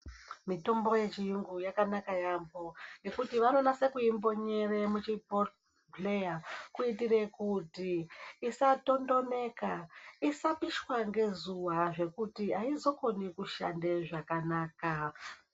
Mitombo ye chiyungu yakanaka yambo ngekuti vano nasa kui mbonyera mu chi bhodhleya kuitire kuti isa totonoka isa pishwa nge zuva zvekuti aizo koni kushande zvakanaka.